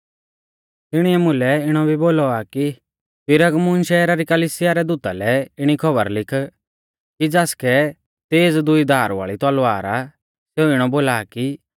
तिणीऐ मुलै इणौ भी बोलौ आ कि पिरगमुन शैहरा री कलिसिया रै दूता लै इणी खौबर लिख कि ज़ासकै तेज़ दुई धार वाल़ी तलवार आ सेऊ इणौ बोला आ कि